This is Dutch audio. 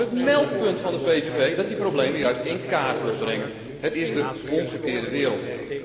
Nee, over het meldpunt van de PVV dat die problemen juist in kaart wil brengen. Het is de omgekeerde wereld.